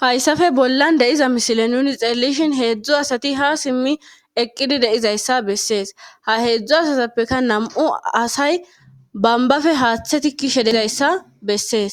Hayssappe bolla de'iza misile nuuni xeelishin heedzdzu asati ha simmi eqqidi de'izayssa besse. ha heedzdzu asatappekka nam'u asay bombbappe haaththa tikishe dizayssa besees.